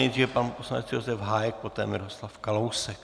Nejdříve pan poslanec Josef Hájek, poté Miroslav Kalousek.